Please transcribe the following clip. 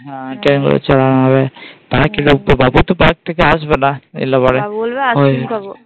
হ্যাঁ ওটাই আমি বলছি বাবু তো Park থেকে আসবে না বাবু বলবে ice cream খাবো